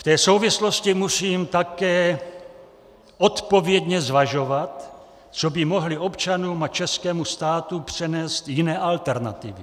V té souvislosti musím také odpovědně zvažovat, co by mohly občanům a českému státu přinést jiné alternativy.